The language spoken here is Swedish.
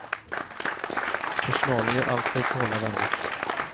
Personalen gör allt för att behålla varvet.